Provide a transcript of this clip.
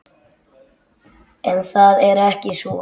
En það er ekki svo.